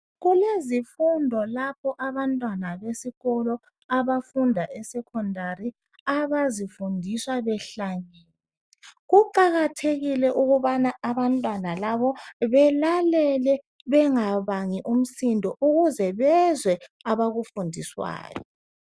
Kulezifundo lapho abantwana besikolo abafunda esecondary abazifundiswa behlangene kuqakathekile ukubana abantwana labo belalele bengabangi umsindo ukuze bezwe abakufundiswayo.